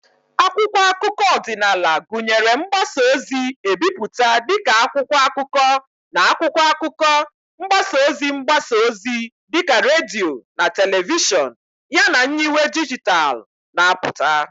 Akwụkwọ akụkọ ọdịnala gụnyere mgbasa ozi ebipụta dị ka akwụkwọ akụkọ na akwụkwọ akụkọ, mgbasa ozi mgbasa ozi dị ka redio na telivishọn, yana nyiwe dijitalụ na-apụta.